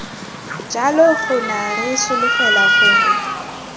jalo gona re solofela gore